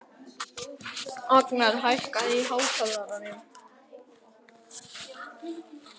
Agnar, hækkaðu í hátalaranum.